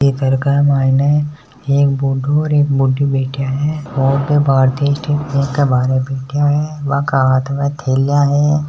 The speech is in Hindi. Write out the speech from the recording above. बि घर के माइन बूढ़ा और एक बूढी बैठा है और बे भारतीय बैंक के बार बैठा है बाक हाथ में थेलिया है।